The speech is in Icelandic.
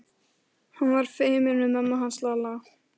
Ég skef seinna burt skítinn undan nöglunum.